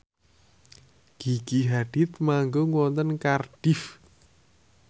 Gigi Hadid manggung wonten Cardiff